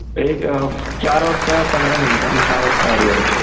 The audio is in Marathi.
एक चार वाजता पंधरा मिनिट आणि सहा वाजता अर्धा तास.